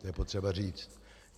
To je potřeba říct.